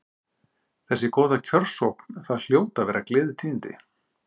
Þessi góða kjörsókn, það hljóta að vera gleðitíðindi?